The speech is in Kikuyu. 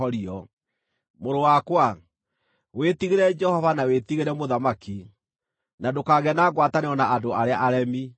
Mũrũ wakwa, wĩtigĩre Jehova na wĩtigĩre mũthamaki, na ndũkagĩe na ngwatanĩro na andũ arĩa aremi,